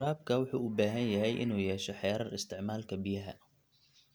Waraabka wuxuu u baahan yahay inuu yeesho xeerar isticmaalka biyaha.